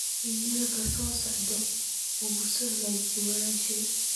iimaylkan soo socda ku soo hagaaji walaashay